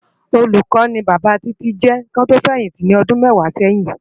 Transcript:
Ólúkò ni Baba Titi jè kiwòn tò fèyinti ni òdún mèwá sèyin